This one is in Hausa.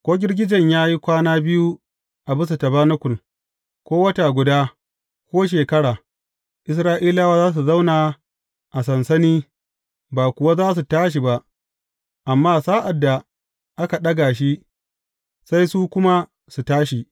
Ko girgijen ya yi kwana biyu a bisa tabanakul, ko wata guda, ko shekara, Isra’ilawa za su zauna a sansani ba kuwa za su tashi ba; amma sa’ad da aka ɗaga shi, sai su kuma su tashi.